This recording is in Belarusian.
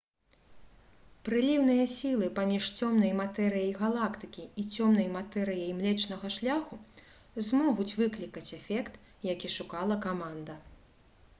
прыліўныя сілы паміж цёмнай матэрыяй галактыкі і цёмнай матэрыяй млечнага шляху змогуць выклікаць эфект які шукала каманда